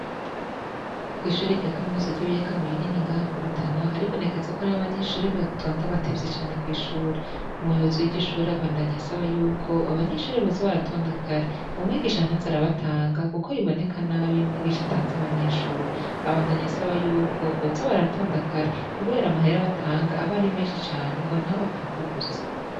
Kwishure rya kaminuza ryibiyaga binini ngaha mu Rutana haribonekeza ko hariho abanyeshre batonda batevye cane kwishure umuyobozi wiryo shure abandanya asaba yuko abo banyeshure boza baratonda kare umwigisha ntaze arabatanga kuko biboneka nabi iyo umwigisha atanze abanyeshure, abandanya asaba yuko boza baratonda kare kubera amahera batanga aba ari menshi cane ngo ntabapfekubusa.